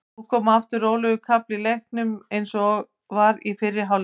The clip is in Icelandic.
Nú kom aftur rólegur kafli í leiknum eins og var í fyrri hálfleik.